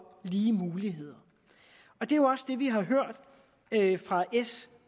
lige muligheder og det er jo også det vi har hørt fra s